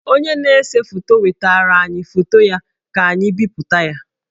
Onye na-ese foto wetaara anyị foto ya ka anyị bipụta ya